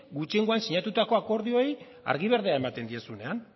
gutxiengoan sinatutako akordioei argi berdea ematen diezuenean